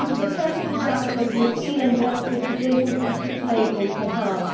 this is a perfect example of the appeal and benefit to businesses such labelling can have.